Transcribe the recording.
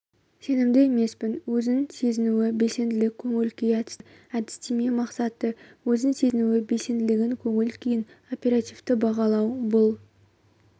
сенімді емеспін өзін сезінуі белсенділік көңіл-күй әдістемесі әдістеме мақсаты өзін сезінуі белсенділігін көңіл-күйін оперативті бағалау бұл